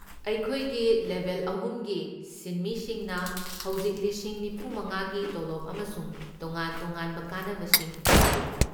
ꯑꯩꯈꯣꯏꯒꯤ ꯂꯦꯚꯦꯜ ꯑꯍꯨꯝꯒꯤ ꯁꯤꯟꯃꯤꯁꯤꯡꯅ ꯍꯧꯖꯤꯛ ꯂꯤꯁꯤꯡ ꯅꯤꯐꯨꯃꯉꯥꯒꯤ ꯇꯣꯂꯣꯕ ꯑꯃꯁꯨꯡ ꯇꯣꯉꯥꯟ ꯇꯣꯉꯥꯟꯕ ꯀꯥꯟꯅꯕꯁꯤꯡ ꯐꯪꯂꯤ꯫